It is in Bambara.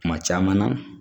Kuma caman na